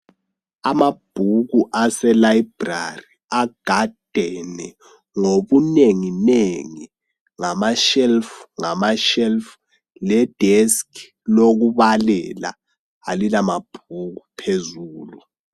Amabhuku aselayibhulari agadene ngobunengi nengi ngama shelufu ngamashelufu ledeski lokubalela alilamabhuku phezulu.